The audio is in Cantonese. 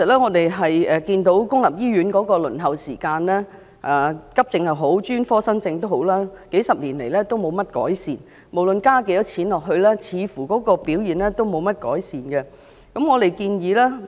我們看到公立醫院的輪候時間，不論急症或專科新症，數十年來也沒有改善，無論對此增加多少撥款，表現也似乎沒有改善。